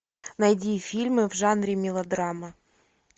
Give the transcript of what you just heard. найди фильмы в жанре мелодрама